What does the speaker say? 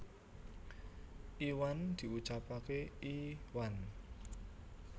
Iwan diucapake i whan